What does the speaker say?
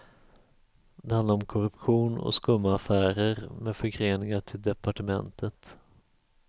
Det handlar om korruption och skumma affärer med förgreningar till departementet.